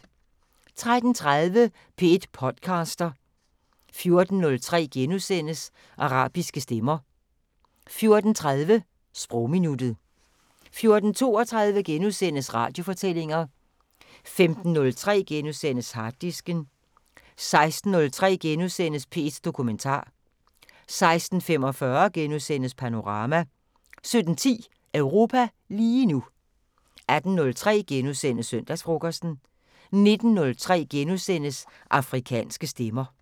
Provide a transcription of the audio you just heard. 13:30: P1 podcaster 14:03: Arabiske stemmer * 14:30: Sprogminuttet 14:32: Radiofortællinger * 15:03: Harddisken * 16:03: P1 Dokumentar * 16:45: Panorama * 17:10: Europa lige nu 18:03: Søndagsfrokosten * 19:03: Afrikanske Stemmer *